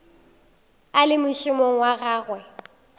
a le mošomong wa gagwe